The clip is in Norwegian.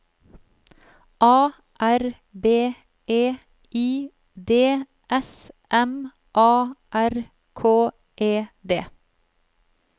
A R B E I D S M A R K E D